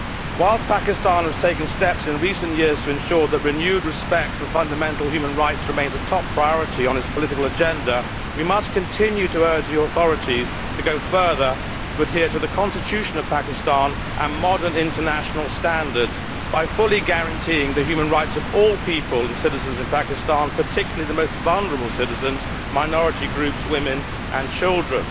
Whilst Pakistan has taken steps in recent years to ensure that renewed respect for fundamental human rights remains a top priority on its political agenda, we must continue to urge the authorities to go further, to adhere to the Constitution of Pakistan and modern international standards by fully guaranteeing the human rights of all people and citizens in Pakistan, particularly the most vulnerable citizens, minority groups, women and children.